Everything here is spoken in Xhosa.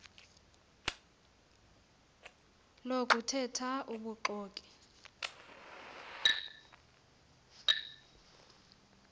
lokuthe tha ubuxoki